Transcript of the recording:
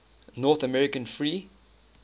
north american free